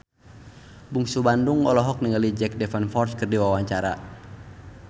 Bungsu Bandung olohok ningali Jack Davenport keur diwawancara